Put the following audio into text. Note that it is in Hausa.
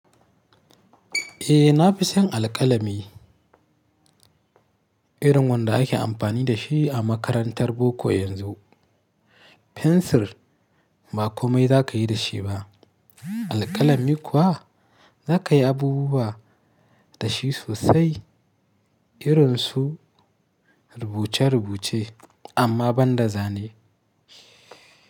Eh na fi son alƙalami irin wanda ake amfani da shi a makarantar boko yanzu. Fensir ba komai za ka yi da shi ba. Alƙalami kuwa za ka yi abubuwa da shi sosai irin su rubuce-rubuce amma ban da zane.